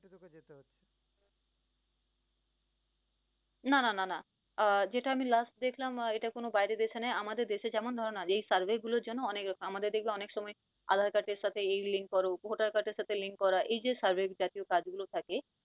না না না না আহ যেটা আমি last দেখলাম এটা কোন বাইরের দেশে নয়, আমাদের দেশে যেমন ধরো না যেই survey গুলোর জন্য অনেক আমাদের দেখবে অনেক সময় আধার card এর সাথে এই link কর, ভোটার card এর সাথে link করা এই যে survey জাতীয় কাজগুলো থাকে